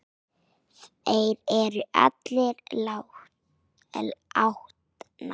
Þær eru allar látnar.